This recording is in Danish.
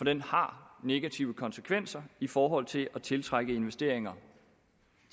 den har negative konsekvenser i forhold til at tiltrække investeringer